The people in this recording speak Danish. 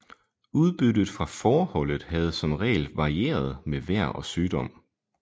Udbyttet fra fåreholdet havde som regel varieret med vejr og sygdom